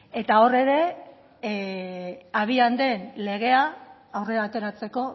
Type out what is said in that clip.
eta hor ere abian den legea aurrera ateratzeko